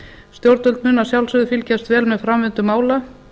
stjórnvöld munu að sjálfsögðu fylgjast vel með framvindu mála